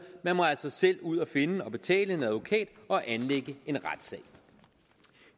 man må altså selv ud at finde og betale en advokat og anlægge en retssag